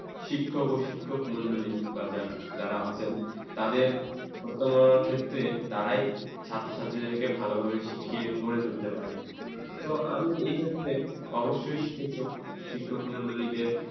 শিক্ষক ও শিক্ষকমন্ডলী বা যা যারা আছেন তাদের প্রথমা ক্ষেত্রে তারাই ছাত্রছাত্রীদেরকে ভালো ভাবে শিখিয়ে গড়ে তুলতে পারে। তো আমি এক্ষেত্রে অবশ্যই শিখক শিক্ষক মন্ডলীকে